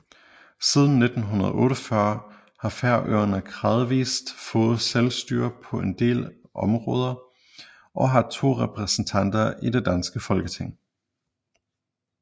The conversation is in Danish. Siden 1948 har Færøerne gradvis fået selvstyre på en del områder og har to repræsentanter i det danske Folketing